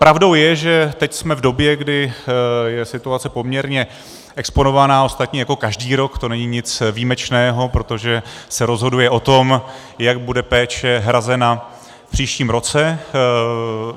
Pravdou je, že teď jsme v době, kdy je situace poměrně exponovaná, ostatně jako každý rok, to není nic výjimečného, protože se rozhoduje o tom, jak bude péče hrazena v příštím roce.